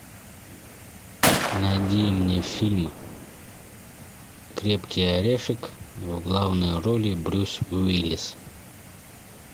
найди мне фильм крепкий орешек в главной роли брюс уиллис